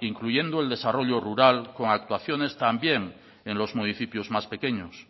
incluyendo el desarrollo rural con actuaciones también en los municipios más pequeños